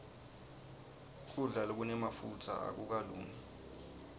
kudla lokunemafutsa akukalungi